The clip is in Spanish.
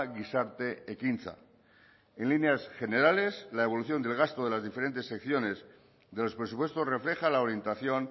gizarte ekintza en líneas generales la evolución del gasto de las diferentes secciones de los presupuestos refleja la orientación